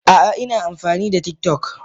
A'a, ina amfani da TikTok